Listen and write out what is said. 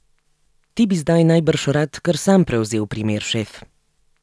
Ti bi zdaj najbrž rad kar sam prevzel primer, šef?